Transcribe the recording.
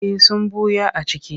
Eh sun ɓuya a ciki.